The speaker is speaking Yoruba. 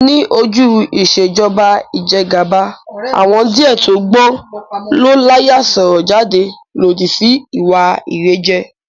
Ní ojú Ìṣèjọba ijẹgàba, àwọn díẹ̀ tó gbọ́n tó l'áyà sọ̀rọ̀ jáde lódì sí ìwà ìrẹ́jẹ